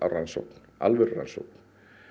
rannsókn alvöru rannsókn